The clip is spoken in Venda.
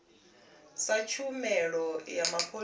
sa tshumelo ya mapholisa a